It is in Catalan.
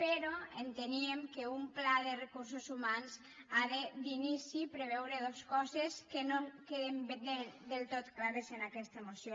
però enteníem que un pla de recursos humans ha de d’inici preveure dos coses que no queden del tot clares en aquesta moció